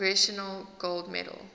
congressional gold medal